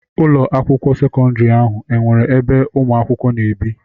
Ụlọ akwụkwọ sekọndrị ahụ enwere ebe ụmụ akwụkwọ na-ebi?